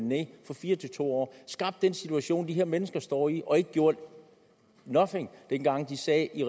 ned fra fire til to år som skabt den situation de her mennesker står i og ikke gjort noget dengang de sad i